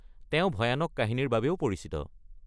তেওঁ ভয়ানক কাহিনীৰ বাবেও পৰিচিত।